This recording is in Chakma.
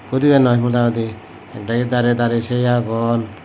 ikko dibey noi modahudi ekdagi darey darey sei agon.